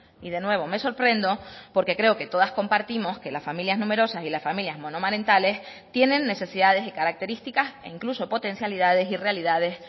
y de nuevo me sorprendo porque creo que todas compartimos que las familias numerosas y las familias monomarentales tienen necesidades y características e incluso potencialidades y realidades